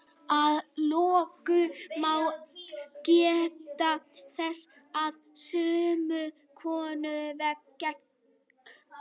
Að lokum má geta þess að sumum konum vex skegg.